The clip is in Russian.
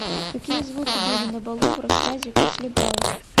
какие звуки были на балу в рассказе после бала